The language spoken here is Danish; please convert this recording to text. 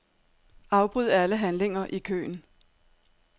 Afbryd alle handlinger i køen.